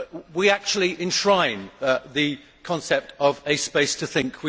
We actually enshrine the concept of a space to think